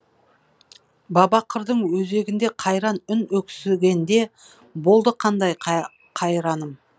баба қырдың өзегінде қайран үн өксігенде болды қандай қайраным